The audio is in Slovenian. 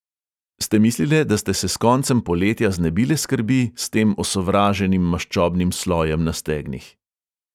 Ste mislile, da ste se s koncem poletja znebile skrbi s tem osovraženim maščobnim slojem na stegnih?